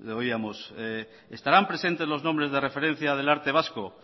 le oíamos estarán presentes los nombres de referencia del arte vasco